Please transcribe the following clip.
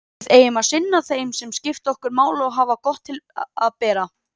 Við eigum að sinna þeim sem skipta okkur máli og hafa gott til að bera.